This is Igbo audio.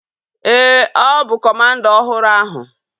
Ee, ọ bụ kọmanda ọhụrụ ahu